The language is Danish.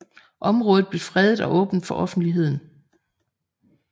Området blev fredet og åbnet for offentligheden